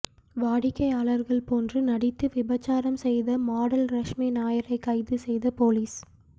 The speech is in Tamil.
வாடிக்கையாளர்கள் போன்று நடித்து விபச்சாரம் செய்த மாடல் ரஷ்மி நாயரை கைது செய்த போலீஸ்